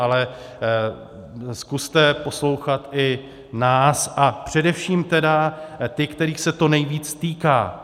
Ale zkuste poslouchat i nás, a především tedy ty, kterých se to nejvíc týká.